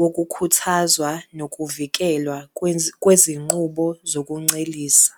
wokukhuthazwa nokuvikelwa kwezinqubo zokuncelisa